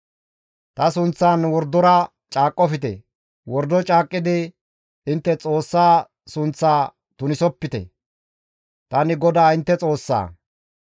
« ‹Ta sunththan wordora caaqqofte; wordo caaqqidi intte Xoossa sunththaa tunisopite; tani GODAA intte Xoossaa.